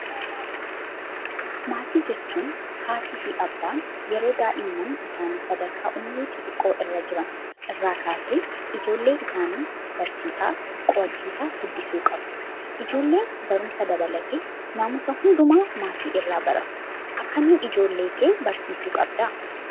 Maatiin jechuun haatii fi abbaan yeroo daa'imman isaanii sadarkaa umrii xixiqqoo irra jiran irraa kaasee ijoollee isaanii barsiisaa qo'achiisaa guddisuu qabu. Ijoolleen barumsa dabalatee naamusa hundumaa maatiirraa baratu. Akkamiin ijoollee kee barsiisuu qabdaa?